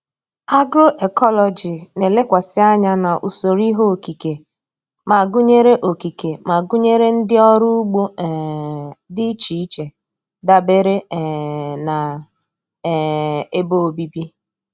Agroecology na-elekwasị anya na usoro ihe okike ma gụnyere okike ma gụnyere ụdị ọrụ ugbo um dị iche iche dabere um na um ebe obibi.